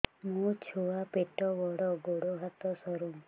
ମୋ ଛୁଆ ପେଟ ବଡ଼ ଗୋଡ଼ ହାତ ସରୁ